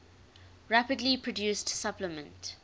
rapidly produced supplement